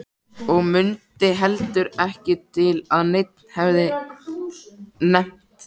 Og mundi heldur ekki til að neinn hefði nefnt það.